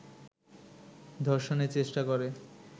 ধর্ষণের চেষ্টা করে